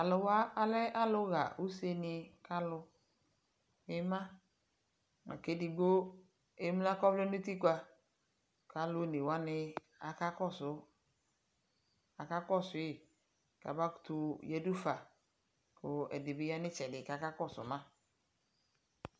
talʊwa alɛ alʊ ɣa usenɩ kalʊ, edigbo emlǝ kʊ ɔvlɛ nʊ utikpǝ, kʊ alʊ onewanɩ akakɔsʊ yi mʊ amakutu yǝdufa, kʊ ɛdɩ bɩ ya nʊ itsɛdɩ kakakɔ sʊ mă